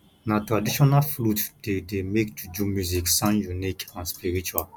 na traditional flute dey dey make juju music sound unique and spiritual